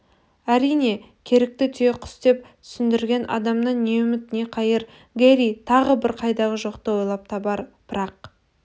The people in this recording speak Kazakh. әрине керікті түйеқұс деп түсіндірген адамнан не үміт не қайыр гэрри тағы бір қайдағы жоқты ойлап табар бірақ